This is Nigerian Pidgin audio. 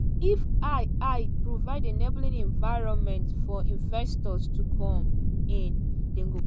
"if i i provide enabling environment for investors to come in dem go.